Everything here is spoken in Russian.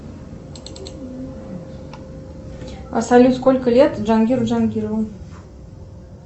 салют сколько лет джангиру джангирову